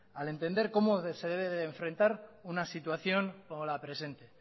al entender cómo se debe de enfrentar una situación como la presente